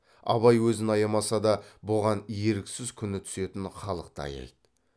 абай өзін аямаса да бұған еріксіз күні түсетін халықты аяйды